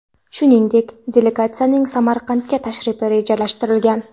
Shuningdek, delegatsiyaning Samarqandga tashrifi rejalashtirilgan.